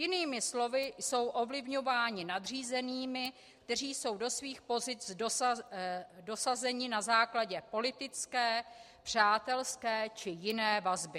Jinými slovy, jsou ovlivňováni nadřízenými, kteří jsou do svých pozic dosazeni na základě politické, přátelské či jiné vazby.